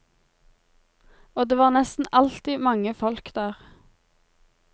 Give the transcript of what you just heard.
Og det var nesten alltid mange folk der.